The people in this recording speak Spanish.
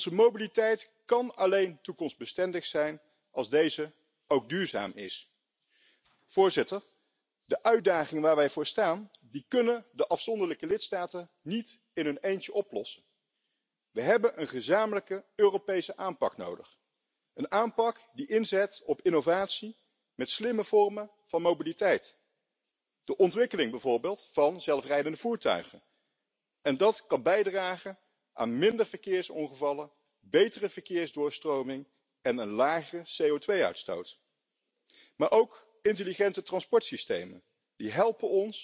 individual, donde, sin embargo, la demanda sigue aumentando. Hacer un verdadero esfuerzo por impulsar el transporte público —lamentablemente, hemos visto cómo en esta Cámara se ha aprobado en esta legislatura el cuarto paquete ferroviario, que supone una liberalización y de alguna manera un ataque al tren, que es el medio de transporte más sostenible y más seguro que tenemos— pues creo que debe ser algo que debemos revisar y que debe ser una prioridad. Hablar de movilidad sostenible es también tener en cuenta el impacto social del transporte en los distintos niveles